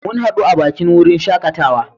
Mun hadu a bakin wurin shakatawa.